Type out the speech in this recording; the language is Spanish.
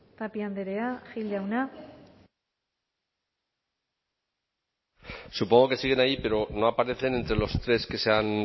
tapia andrea gil jauna supongo que siguen ahí pero no aparecen entre los tres que han